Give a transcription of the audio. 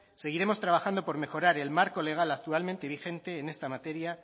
seguiremos trabajando por mejorar el marco legalmente vigente en esta materia